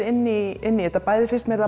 inn í inn í þetta bæði fannst mér það